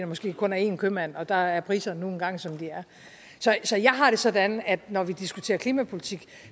måske kun er én købmand og der er priserne nu engang som de er så jeg har det sådan at når vi diskuterer klimapolitik